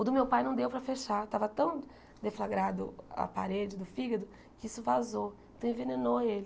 O do meu pai não deu para fechar, estava tão deflagrado a parede do fígado que isso vazou, então envenenou ele.